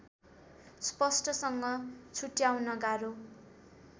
स्पष्टसँग छुट्याउन गाह्रो